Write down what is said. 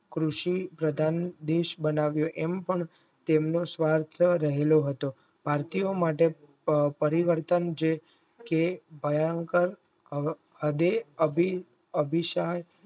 કૃષિ પ્રધાન દેશ બનાવ્યો મ પણ તેમનો સ્વાર્થ રહેલો હતો ભારતીય માટે પરિવર્તનજે કે ભયંકર હદે અભી અભિસાદ